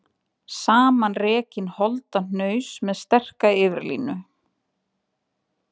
Samanrekinn holdahnaus með sterka yfirlínu.